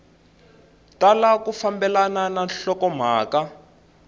tala ku fambelana na nhlokomhaka